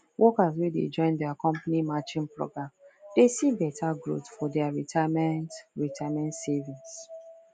workers wey de join their company matching program de see better growth for their retirement retirement savings